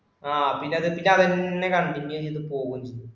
ആ പിന്നെ അതുകഴിഞ്ഞിട്ടു അവൻ തന്നെ കാണും പിന്നെ യാണിത് പോവും